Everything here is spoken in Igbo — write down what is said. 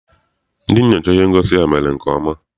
Ndị nyochara ihe ngosi a mere nke ọma.